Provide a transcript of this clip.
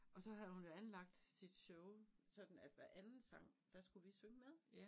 Og så havde hun jo anlagt sit show sådan at hver anden sang der skulle vi synge med